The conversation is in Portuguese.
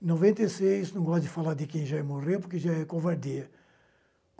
Em noventa e seis, não gosto de falar de quem já morreu, porque já é covardia.